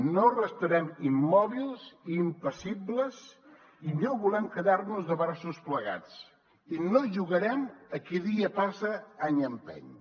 no restarem immòbils i impassibles i no volem quedar nos de braços plegats i no jugarem a qui dia passa any empeny